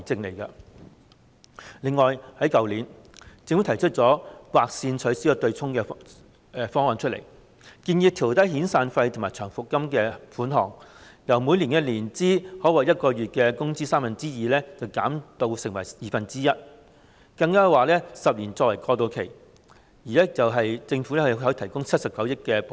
此外，政府在去年就取消強積金對沖提出"劃線"方案，建議調低遣散費和長期服務金款額，由每年年資可獲月薪的三分之二，減至二分之一，更建議設立10年過渡期，由政府向僱主提供79億元補貼。